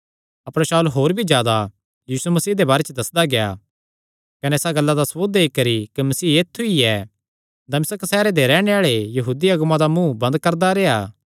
अपर शाऊल होर भी जादा यीशु मसीह दे बारे च दस्सदा गेआ कने इसा गल्ला दा सबूत देई करी कि मसीह ऐत्थु ई ऐ दमिश्क सैहरे दे रैहणे आल़े यहूदी अगुआं दा मुँ बंद करदा रेह्आ